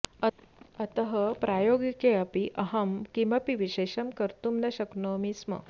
अतः प्रायोगिके अपि अहं किमपि विशेषं कर्तुं न शक्नोमि स्म